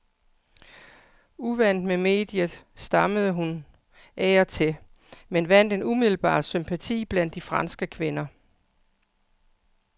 Uvant med mediet, stammede hun af og til men vandt en umiddelbar sympati blandt de franske kvinder.